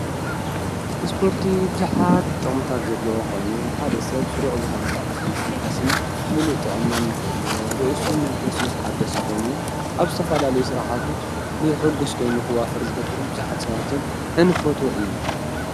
እስጶርቲ ብዙኃት ጥቅምታት ዘለዎ ኾይኑ ሓደሰት ሥሩዕ ዝኾነ ሥርዓቲ ምስትንፋስን ምሉእ ጥዖናን ኾሉ ርእሱ መንፈሱን ተሓደሰ ኾይኑ ኣብ ዝተፋላለይ ሥርዓቱ ብሕጕሥ ኮይኑ ኽዋፈር ዝገብር ብዙኃት ሰዋትን እንፈት እዩ፡፡